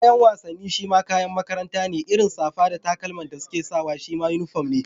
Kayan wasanni shima kayan makaranta ne, irin safa da takalman da suke sawa shima uniform ne.